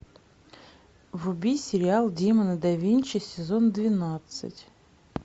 вруби сериал демоны да винчи сезон двенадцать